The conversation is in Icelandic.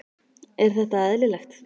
Er þetta eðlilegt?